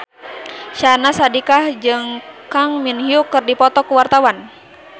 Syahnaz Sadiqah jeung Kang Min Hyuk keur dipoto ku wartawan